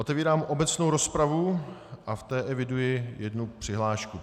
Otevírám obecnou rozpravu a v té eviduji jednu přihlášku.